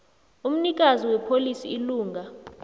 umnikazi wepholisi ilunga